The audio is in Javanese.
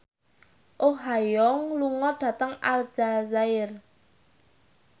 Oh Ha Young lunga dhateng Aljazair